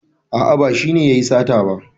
A'a ba shi ne yayi sata ba.